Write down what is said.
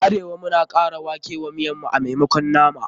A arewa, muna kara wake wa miyan mu a maimakon nama.